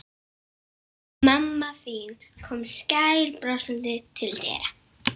Mamma þín kom skælbrosandi til dyra.